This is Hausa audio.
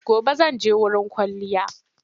Gobe zan je wurin kwalliya.